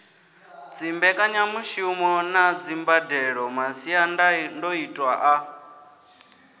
dzimbekanyamushumo na dzimbadelo masiandoitwa a